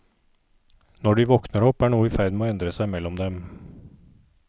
Når de våkner opp, er noe i ferd med å endre seg mellom dem.